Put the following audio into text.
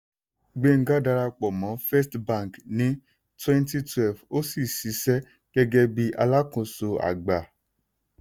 gbenga darapọ̀ mọ́ first bank ní 2012 ó sì ṣiṣẹ́ gẹ́gẹ́ bí alákóso àgbà.